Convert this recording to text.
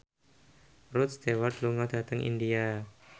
Rod Stewart lunga dhateng India